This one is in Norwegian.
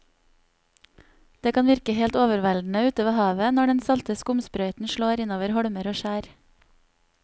Det kan virke helt overveldende ute ved havet når den salte skumsprøyten slår innover holmer og skjær.